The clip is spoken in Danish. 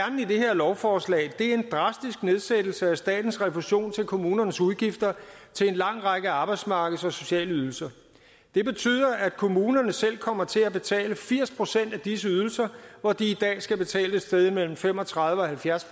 lovforslag er en drastisk nedsættelse af statens refusion af kommunernes udgifter til en lang række arbejdsmarkeds og sociale ydelser det betyder at kommunerne selv kommer til at betale firs procent af disse ydelser hvor de i dag skal betale et sted mellem fem og tredive og halvfjerds